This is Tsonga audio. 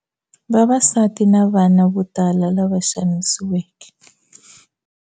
Vavasati na vana vo tala lava xanisiweke